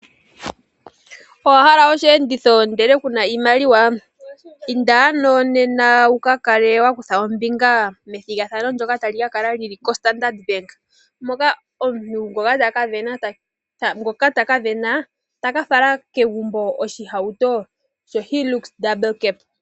Owa hala osheenditho ihe ku na oshimaliwa? Inda ano nena wu ka kale wa kutha ombinga methigathano ndyoka ta li ka kala li li koStandard Bank moka omuntu ngoka ta ka sindana ta ka fala kegumbo osheenditho shoondunda mbali shoHilux.